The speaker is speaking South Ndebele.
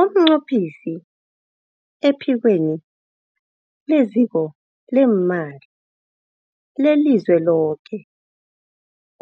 UmNqophisi ePhikweni leZiko leeMali leliZweloke